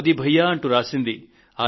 మోదీ భయ్యా అంటూ రాశారు